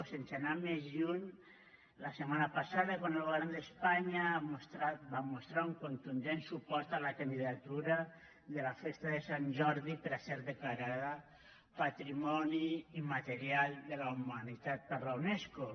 sense anar més lluny la setmana passada quan el govern d’espanya va mostrar un contundent suport a la candidatura de la festa de sant jordi per a ser declarada patrimoni immaterial de la humanitat per la unesco